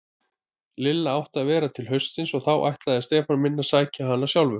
Lilla átti að vera til haustsins og þá ætlaði Stefán minn að sækja hana sjálfur.